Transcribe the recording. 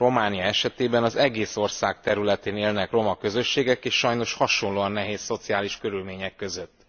Románia esetében az ország egész területén élnek roma közösségek és sajnos hasonlóan nehéz szociális körülmények között.